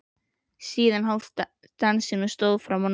Síðan hófst dansinn og stóð fram á nótt.